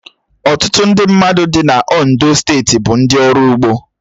Ọtụtụ ndị mmadụ dì na Ondo steeti bụ ndị ọrụ ugbo